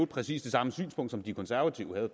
præcis det samme synspunkt som de konservative havde